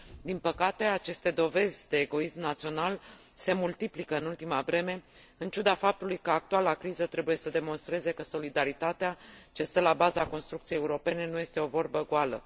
Din păcate, aceste dovezi de egoism național se multiplică în ultima vreme, în ciuda faptului că actuala criză trebuie să demonstreze că solidaritatea ce stă la baza construcției europene nu este o vorbă goală.